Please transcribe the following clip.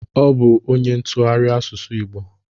Ọ bụ onye ntụgharị asụsụ igbo